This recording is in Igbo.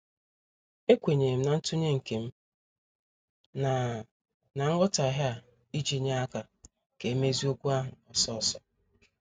Ekwenyerem na ntunye nkem na na nghotaghie a iji nye aka ka emezie okwu ahụ ọsọ ọsọ.